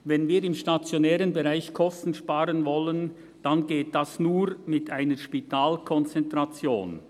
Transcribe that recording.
Wenn wir im stationären Bereich Kosten sparen wollen, dann geht das nur mit einer Spitalkonzentration.»